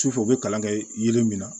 Sufɛ u bɛ kalan kɛ yiri min na